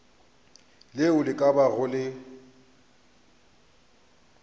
leo le ka bago le